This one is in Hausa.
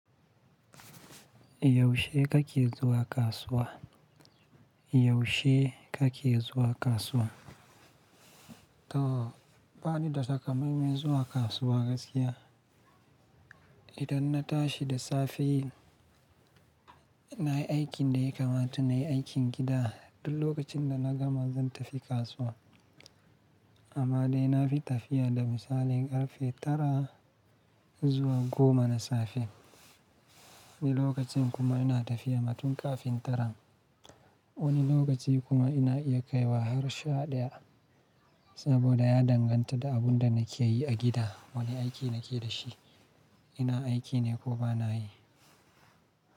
Yaushe kake zuwa kasuwa? Yaushe kake zuwa kasuwa? To, bani da takamaiman zuwa kasuwa gaskiya. Idan na tashi da safe, ina yi aikin da ya kamata nayi aikin gida. Duk lokacin da na gama zan tafi kasuwa. Amma dai na fi tafiya da misalin karfe tara zuwa goma na safe. Wani lokacin kuma ina tafiya ma tun ƙafin tara. Wani lokaci kuma ina iya kaiwa har sha ɗaya. Saboda ya danganta da abun da nake yi a gida, wani aiki nake da shi, ina aiki ne ko ba na yi.